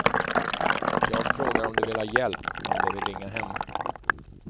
Jag frågar om de vill ha hjälp, om de vill ringa hem.